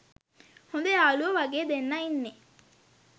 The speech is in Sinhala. හොද යාලුවෝ වගේ දෙන්නා ඉන්නේ.